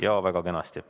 Jaa, väga kenasti.